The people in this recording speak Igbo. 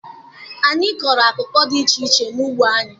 Anyị kụrụ akụkụ dị iche iche n'ugbo anyị.